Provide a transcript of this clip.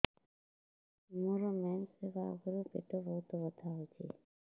ମୋର ମେନ୍ସେସ ହବା ଆଗରୁ ପେଟ ବହୁତ ବଥା ହଉଚି